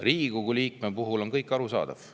Riigikogu liikme puhul on kõik arusaadav.